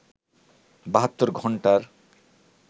৭২ ঘন্টার